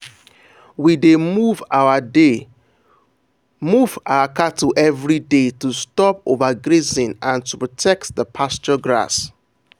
we dey move our dey move our cattle everyday to stop overgrazing and to protect the pasture grass.